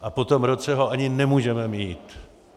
A po tom roce ho ani nemůžeme mít.